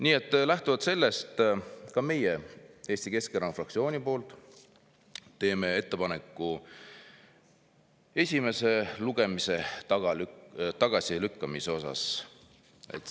Nii et lähtuvalt sellest teeme ka meie Eesti Keskerakonna fraktsiooni poolt ettepaneku esimesel lugemisel tagasi lükata.